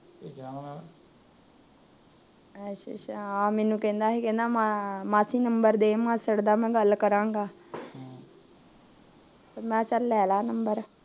ਅੱਛਾ ਅੱਛਾ ਹਾ ਮੈਨੂੰ ਕਹਿੰਦਾ ਸੀ ਮਾ ਮਾਸੀ ਗਿਣਤੀ ਦੇ ਮਾਸੜ ਦਾ ਮੈ ਗੱਲ ਕਰਾਂਗਾ ਤੇ ਮੈ ਕਿਹਾ ਚਲ ਲੈ ਲਾ ਗਿਣਤੀ